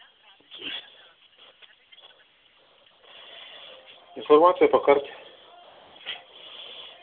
информация по карте